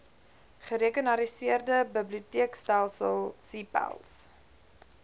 gerekenariseerde biblioteekstelsel cpals